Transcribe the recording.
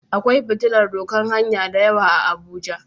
Akwai fitillan doƙan hanya da yawa a abuja.